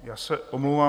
Já se omlouvám.